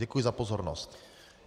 Děkuji za pozornost.